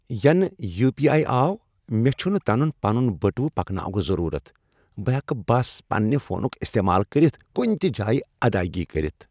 ینہٕ U P I آو مےٚ چھُنہٕ تنہ پنُن بٹوٕ پكناونک ضرورت۔ بہٕ ہیکہٕ بس پننہِ فونُک استعمال کٔرتھ کُنِہ تہِ جایہ ادایگی کٔرتھ۔